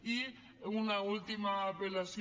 i una última apel·lació